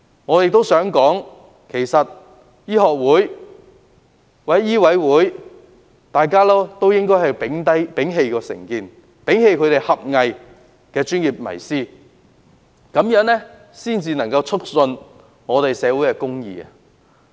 我認為，香港醫學會或醫委會應摒棄成見及狹隘的專業迷思，這樣才能促進社會公義。